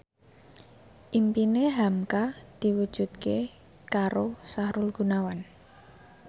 impine hamka diwujudke karo Sahrul Gunawan